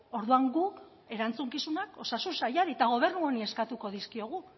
orduan guk erantzukizunak osasun sailari eta gobernu honi eskatuko dizkiogu